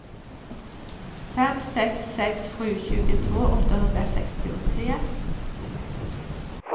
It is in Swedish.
fem sex sex sju tjugotvå åttahundrasextiotre